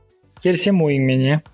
келісемін ойыңмен иә